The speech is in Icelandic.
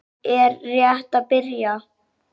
Rimman er rétt að byrja.